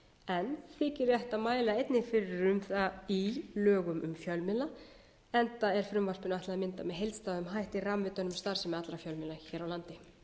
en þykir rétt að mæla einnig fyrir um það í lögum um fjölmiðla enda er frumvarpinu ætlað að mynda með heildstæðum hætti ramma utan um starfsemi allra fjölmiðla hér á landi